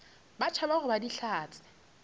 ba tšhaba go ba dihlatse